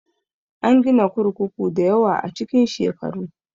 An gina kurkuku dayawa a cikin shekaru